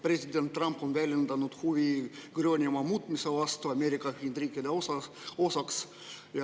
President Trump on väljendanud huvi Gröönimaa muutmise vastu Ameerika Ühendriikide osaks.